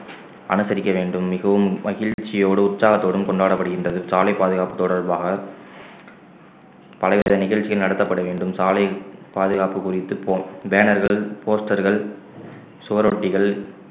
அனுசரிக்க வேண்டும் மிகவும் மகிழ்ச்சியோடு உற்சாகத்தோடும் கொண்டாடப்படுகின்றது சாலை பாதுகாப்பு தொடர்பாக பலவித நிகழ்ச்சிகள் நடத்தப்பட வேண்டும் சாலை பாதுகாப்பு குறித்து போன்~ பேனர்கள் போஸ்டர்கள் சுவரொட்டிகள்